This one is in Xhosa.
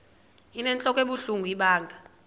inentlok ebuhlungu ibanga